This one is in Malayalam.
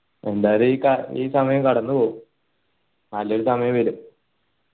എന്തായാലും ഈ സമയം കടന്നുപോകും നല്ലൊരു സമയം വരും